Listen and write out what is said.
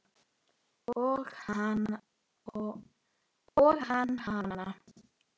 Og hann hana.